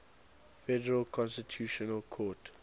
federal constitutional court